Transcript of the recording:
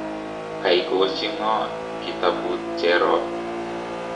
koikochi ng'o kitabut cherop?